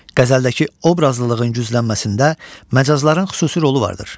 Qəzəldəki obrazlılığın güclənməsində məcazların xüsusi rolu vardır.